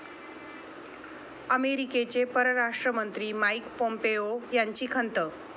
अमेरिकेचे परराष्ट्र मंत्री माईक पॉम्पेओ यांची खंत